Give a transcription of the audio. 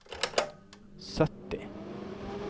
sytti